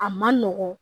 A ma nɔgɔn